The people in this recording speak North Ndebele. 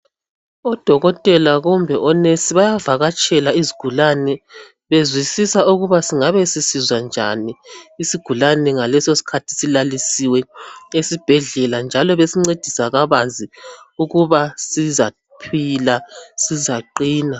Odokotela kumbe onesi bayavakatshela izigulani bezwisisa ukuba singabe sisizwa njani, isigulani ngaleso sikhathi silalisiwe esibhedlela njalo besincedisa kabanzi ukuba sizaphila sizaqina.